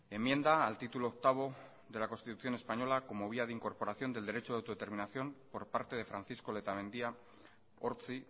enmienda al título octavo de la constitución española como vía de incorporación del derecho de autodeterminación por parte de francisco letamendia ortzi